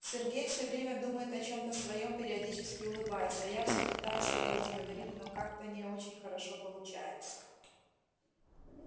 сергей всё время думает о чём-то своём периодически улыбаясь а я всё пытаюсь его разговорить но как-то не очень хорошо получается